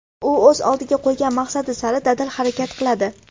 U o‘z oldiga qo‘ygan maqsadi sari dadil harakat qiladi.